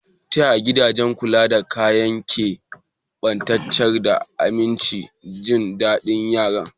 Ta yaya gidajen kula da yaran ke tabbatar da aminci da jin daɗin yaran?